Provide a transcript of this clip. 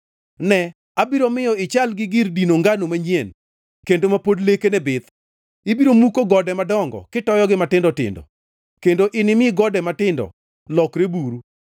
“Ne, abiro miyo ichal gi gir dino ngano manyien kendo ma pod lekene bith. Ibiro muko gode madongo kitoyogi matindo tindo kendo inimi gode matindo lokre buru.